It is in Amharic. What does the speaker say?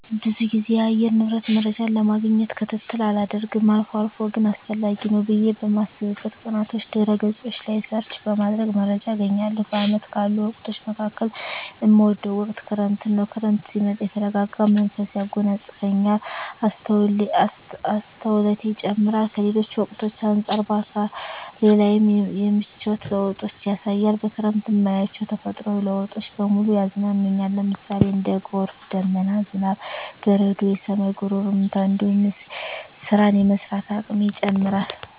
ብዙ ግዜ የአየር ንብረት መረጃን ለማግኘት ክትትል አላደርግም አልፎ አልፎ ግን አስፈላጊ ነው ብየ በማስብበት ቀናቶች ድህረ ገጾች ላይ ሰርች በማድረግ መረጃ አገኛለሁ። በአመቱ ካሉ ወቅቶች መካከል እምወደው ወቅት ክረምትን ነው። ክረምት ሲመጣ የተረጋጋ መንፈስ ያጎናጽፈኛል፣ አስተውሎቴ ይጨምራር፣ ከሌሎች ወቅቶች አንጻር በአካሌ ላይም የምቿት ለውጦችን ያሳያል፣ በክረምት እማያቸው ተፈጥሮአዊ ለውጦች በሙሉ ያዝናኑኛል ለምሳሌ:- እንደ ጎርፍ፣ ደመና፣ ዝናብ፣ በረዶ፣ የሰማይ ጉርምርምታ እንዲሁም ስራን የመስራት አቅሜ ይጨምራር